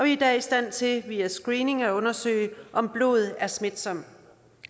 i dag i stand til via screening at undersøge om blod er smitsomt